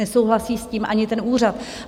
Nesouhlasí s tím ani ten úřad.